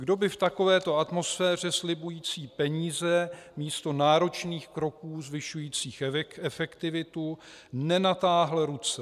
Kdo by v takovéto atmosféře slibující peníze místo náročných kroků zvyšujících efektivitu nenatáhl ruce?